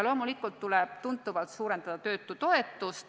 Loomulikult tuleb tuntavalt suurendada töötutoetust.